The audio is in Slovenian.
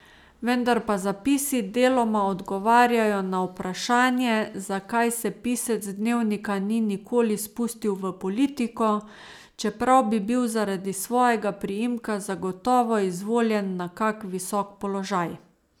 Vendar pa zapisi deloma odgovarjajo na vprašanje, zakaj se pisec dnevnika ni nikoli spustil v politiko, čeprav bi bil zaradi svojega priimka zagotovo izvoljen na kak visok položaj.